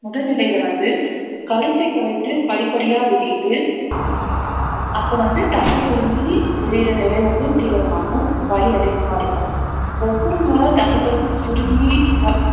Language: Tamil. முதல் நிலையில வந்து கருப்பை கழுத்து படிப்படியா விரியுது அப்ப வந்து தசை சுருங்கி விரியிற நிலை வந்து தீவிரமாகும் வலி அதிகமா இருக்கும் ஒவ்வொரு முறை தச சுருங்கி அஹ்